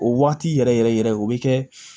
O waati yɛrɛ yɛrɛ yɛrɛ o bɛ kɛ